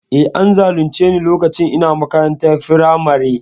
E, an zalunce ni lokacin ina makarantar firamare.